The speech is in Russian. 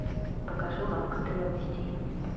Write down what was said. покажи лавка древностей